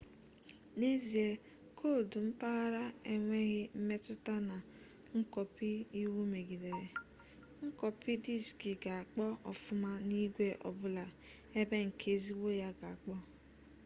n'ezie koodu mpaghara enweghị mmetụta na nkọpi iwu megidere nkọpị diski ga-akpọ ọfụma n'igwe ọbụla ebe nke ezigbo ya ga-akpọ